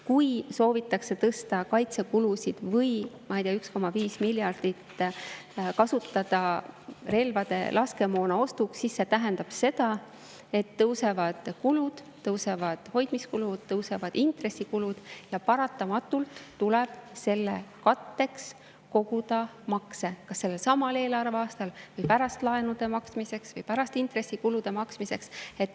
Kui soovitakse tõsta kaitsekulusid, ma ei tea, 1,5 miljardit kasutada relvade ja laskemoona ostuks, siis see tähendab seda, et tõusevad kulud: tõusevad hoidmiskulud, tõusevad intressikulud ja paratamatult tuleb selle katteks koguda makse kas sellelsamal eelarveaastal või hiljem laenude maksmiseks või intressikulude maksmiseks.